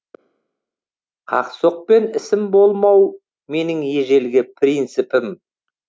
қақ соқпен ісім болмау менің ежелгі принципім